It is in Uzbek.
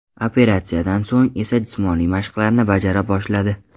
Operatsiyadan so‘ng esa jismoniy mashqlarni bajara boshladi.